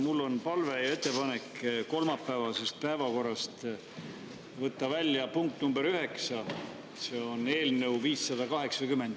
Mul on palve ja ettepanek kolmapäevasest päevakorrast võtta välja punkt nr 9, see on eelnõu 580.